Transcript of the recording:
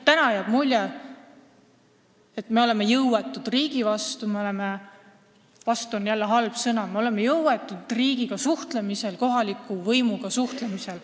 Praegu on neil tunne, et nad on riigi vastu jõuetud – "vastu" pole siin õige sõna –, et nad on jõuetud riigiga suhtlemisel, kohaliku võimuga suhtlemisel.